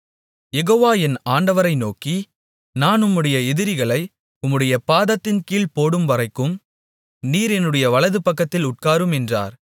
யெகோவா என் ஆண்டவரை நோக்கி நான் உம்முடைய எதிரிகளை உம்முடைய பாதத்தின்கீழ் போடும்வரைக்கும் நீர் என்னுடைய வலதுபக்கத்தில் உட்காரும் என்றார்